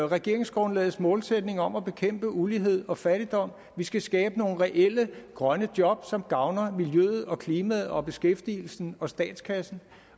regeringsgrundlagets målsætning om at bekæmpe ulighed og fattigdom vi skal skabe nogle reelle grønne job som gavner miljøet og klimaet og beskæftigelsen og statskassen